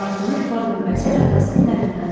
Dartınıb var qüvvəsiylə atasının əlindən çıxdı.